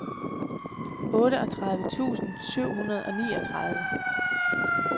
otteogtredive tusind syv hundrede og niogtredive